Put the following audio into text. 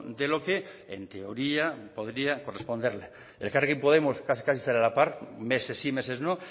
de lo que en teoría podría corresponderle elkarrekin podemos casi sale a la par meses sí meses no